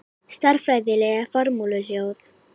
Stærðfræðileg formúluljóð.